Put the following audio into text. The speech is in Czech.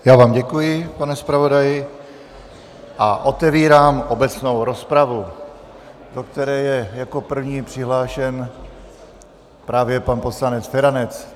Já vám děkuji, pane zpravodaji, a otevírám obecnou rozpravu, do které je jako první přihlášen právě pan poslanec Feranec.